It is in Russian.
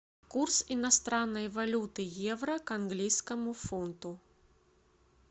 курс иностранной валюты евро к английскому фунту